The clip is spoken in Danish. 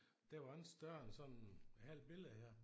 Den var ikke større end sådan et halvt billede her